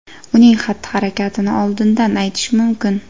uning xatti-harakatini oldindan aytish mumkin.